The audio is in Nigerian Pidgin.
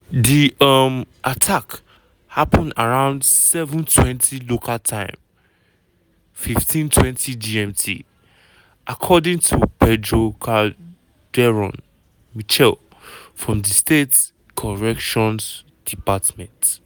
di um attack happun around 07:20 local time (15:20 gmt) according to pedro calderón michel from di state corrections department.